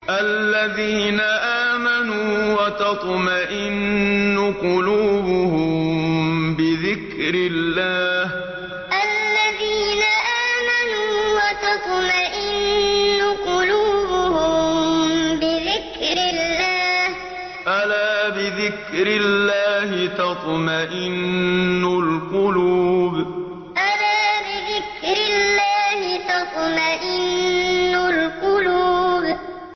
الَّذِينَ آمَنُوا وَتَطْمَئِنُّ قُلُوبُهُم بِذِكْرِ اللَّهِ ۗ أَلَا بِذِكْرِ اللَّهِ تَطْمَئِنُّ الْقُلُوبُ الَّذِينَ آمَنُوا وَتَطْمَئِنُّ قُلُوبُهُم بِذِكْرِ اللَّهِ ۗ أَلَا بِذِكْرِ اللَّهِ تَطْمَئِنُّ الْقُلُوبُ